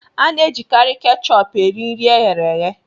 A na-ejikarị kechupú eri nri e ghere eghe